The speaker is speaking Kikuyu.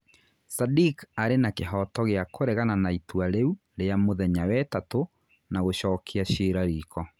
Sadiq arĩ na kĩhooto gĩa kũregana na itua rĩu rĩa muthenya wetatu na gũchokia ciira riko.